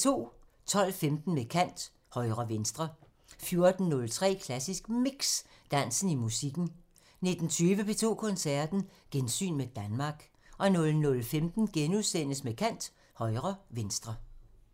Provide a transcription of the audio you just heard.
12:15: Med kant – Højre/venstre 14:03: Klassisk Mix – Dansen i musikken 19:20: P2 Koncerten – Gensyn med Danmark 00:15: Med kant – Højre/venstre *